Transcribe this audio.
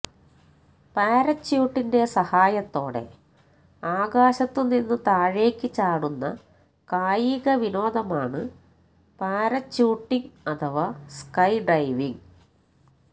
പാരച്യൂട്ടിന്റെ സഹായത്തോടെ ആകാശത്തുനിന്നു താഴേക്ക് ചാടുന്ന കായിക വിനോദമാണ് പാരച്യൂട്ടിംഗ് അഥവാ സ്കൈ ഡൈവിംഗ്